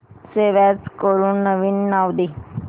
save as करून नवीन नाव दे